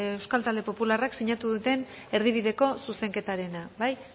euskal talde popularrak sinatu duten erdibideko zuzenketarena bai